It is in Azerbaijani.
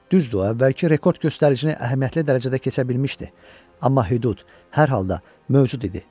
Düzdür, əvvəlki rekord göstəricini əhəmiyyətli dərəcədə keçə bilmişdi, amma hüdud hər halda mövcud idi.